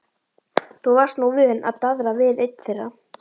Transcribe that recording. Þú varst nú vön að daðra við einn þeirra.